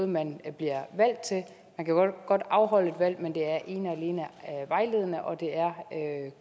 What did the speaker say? man kan godt afholde et valg men det er ene og alene vejledende og det er